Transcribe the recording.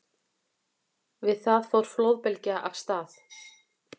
Við það fór flóðbylgja af stað.